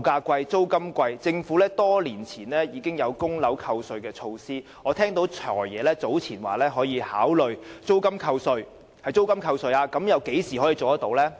價高、租金貴，政府在多年前曾推出供樓扣稅的措施，而我早前也聽過"財爺"說會考慮讓租金扣稅，但何時才可以做到呢？